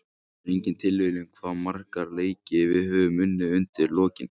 Það er engin tilviljun hvað marga leiki við höfum unnið undir lokin.